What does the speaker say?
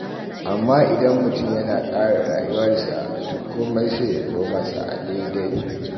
Amma idan mutum ya tsara rayuwarsa, to komai sai ya zo masa a daidai.